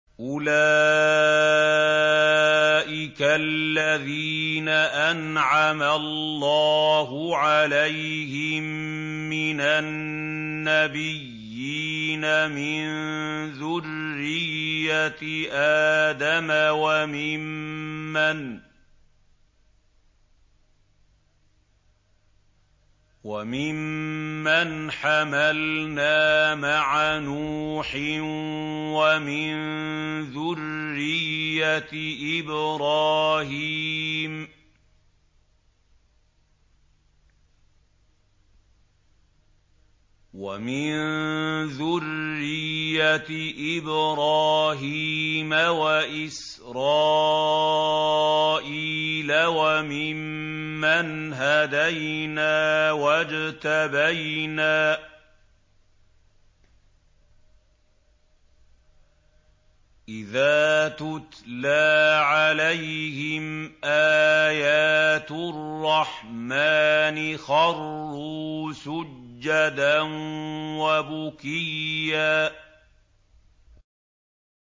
أُولَٰئِكَ الَّذِينَ أَنْعَمَ اللَّهُ عَلَيْهِم مِّنَ النَّبِيِّينَ مِن ذُرِّيَّةِ آدَمَ وَمِمَّنْ حَمَلْنَا مَعَ نُوحٍ وَمِن ذُرِّيَّةِ إِبْرَاهِيمَ وَإِسْرَائِيلَ وَمِمَّنْ هَدَيْنَا وَاجْتَبَيْنَا ۚ إِذَا تُتْلَىٰ عَلَيْهِمْ آيَاتُ الرَّحْمَٰنِ خَرُّوا سُجَّدًا وَبُكِيًّا ۩